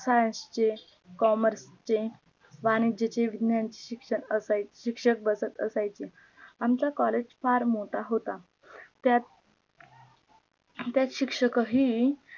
science चे commerce चे वाणिज्य विज्ञानचे शिक्षक असा शिक्षक बसत असायचे आमचा collage फार मोठा होता त्यात त्यात शिक्षक ही